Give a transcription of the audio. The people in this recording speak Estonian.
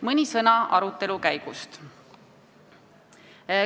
Mõni sõna arutelu käigust.